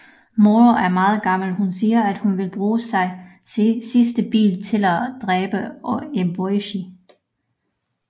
Moro er meget gammel hun siger at hun vil bruge sit sidste bid til at dræbe Eboishi